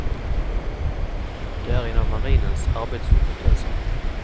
Det är en av marinens arbetshypoteser.